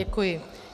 Děkuji.